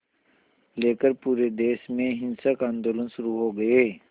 लेकर पूरे देश में हिंसक आंदोलन शुरू हो गए